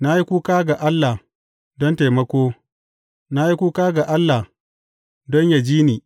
Na yi kuka ga Allah don taimako; na yi kuka ga Allah don yă ji ni.